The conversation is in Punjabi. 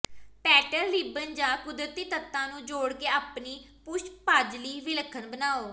ਪੈਟਲ ਰਿਬਨ ਜਾਂ ਕੁਦਰਤੀ ਤੱਤਾਂ ਨੂੰ ਜੋੜ ਕੇ ਆਪਣੀ ਪੁਸ਼ਪਾਜਲੀ ਵਿਲੱਖਣ ਬਣਾਉ